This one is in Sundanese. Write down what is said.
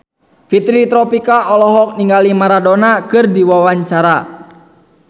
Fitri Tropika olohok ningali Maradona keur diwawancara